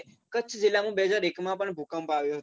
કચ્છ જીલ્લામાં બે હજાર એક માં પણ ભૂકંપ આવ્યો હતો.